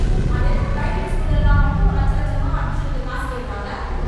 அது என்ன private school எல்லாம் மட்டும் லட்ச லட்சமா அட்மிஷனுக்கு காசு கேக்குறாங்க